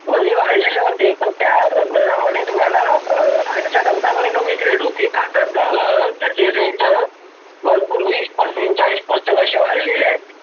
मंदी वाडलेले होते. पण त्या दरामध्ये तुम्हाला आजच्या Compare मध्ये कमीच rate होते. आता तर त्याचे वीस Percent चाळीस Percent असे होते.